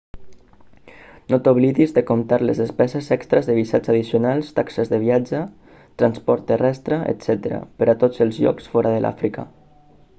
no t'oblidis de comptar les despeses extres de visats addicionals taxes de viatge transport terrestre etc per a tots els llocs fora de l'àfrica